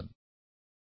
ধন্যবাদ ভাই